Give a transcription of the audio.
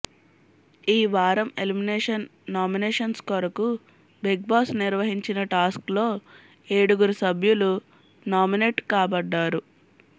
ఈ వారం elimination nominations కొరకు బిగ్ బాస్ నిర్వహించిన టాస్క్ లో ఏడుగురు సభ్యలు నామినేట్ కబడ్డారు